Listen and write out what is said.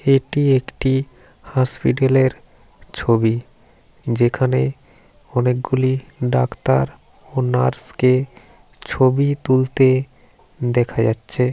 এটি একটি হসপিটালের ছবি যেখানে অনেকগুলি ডাক্তার ও নার্স কে ছবি তুলতে দেখা যাচ্ছে।